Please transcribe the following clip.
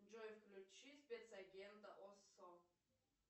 джой включи спецагента оссо